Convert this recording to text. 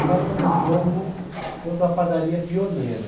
Marcamos um jogo contra a padaria pioneira.